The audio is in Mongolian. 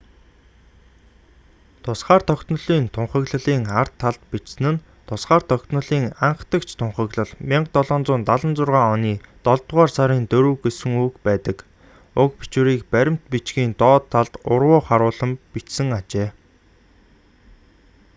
тусгаар тогтнолын тунхаглалын ар талд бичигдсэн нь тусгаар тогтнолын анхдагч тунхаглал 1776 оны долдугаар сарын 4 гэсэн үгс байдаг уг бичвэрийг баримт бичгийн доод талд урвуу харуулан бичсэн ажээ